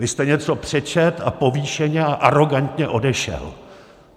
Vy jste něco přečetl a povýšeně a arogantně odešel.